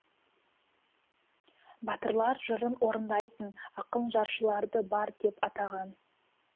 батырлар жырын орындайтын ақын жыршыларды бард деп атаған